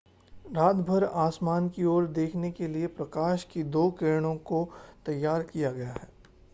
रातभर आसमान की ओर देखने के लिए प्रकाश की दो किरणों को तैयार किया गया है